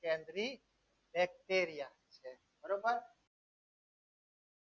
કેન્દ્રીય bacteria બરોબર